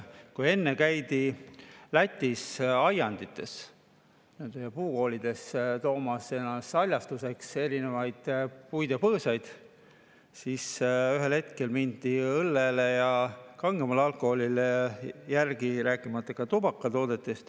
Kui enne käidi Lätis aiandites ja puukoolides toomas endale haljastuseks erinevaid puid ja põõsaid, siis ühel hetkel mindi õllele ja kangemale alkoholile järgi, rääkimata tubakatoodetest.